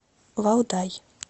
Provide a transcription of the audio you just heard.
валдай